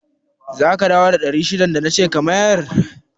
Zaka dawo da naira ɗari shidan da nace ka mayar?